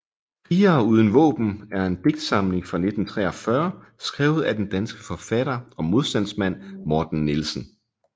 Krigere uden Vaaben er en digtsamling fra 1943 skrevet af den danske forfatter og modstandsmand Morten Nielsen